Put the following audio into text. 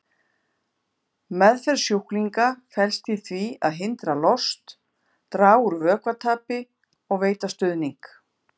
Meðferð sjúklinga felst í því að hindra lost, draga úr vökvatapi og veita stuðning.